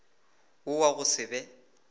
wo wa go se be